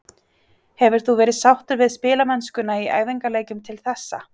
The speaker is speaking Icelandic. Hefur þú verið sáttur við spilamennskuna í æfingaleikjum til þessa?